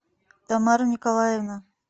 тамара николаевна